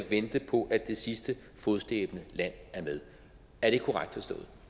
vente på at det sidste fodslæbende land er med er det korrekt